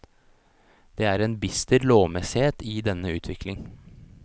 Det er en bister lovmessighet i denne utvikling.